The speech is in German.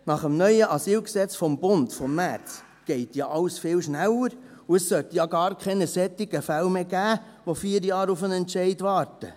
Nach dem neuen AsylG des Bundes vom März geht ja alles viel schneller, und es sollte ja gar keine solche Fälle mehr geben, die 4 Jahre auf einen Entscheid warten.